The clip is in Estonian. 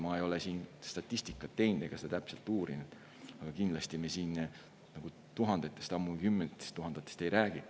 Ma ei ole statistikat teinud ega seda täpselt uurinud, aga kindlasti me siin tuhandetest, ammugi kümnetest tuhandetest ei räägi.